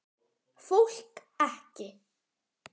Fólk ekki.